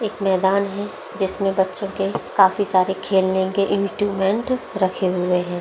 एक मैदान है जिसमें बच्चों के काफी सारे खेलने के काफी सारे इंस्ट्रूमेंट रखे हुए है।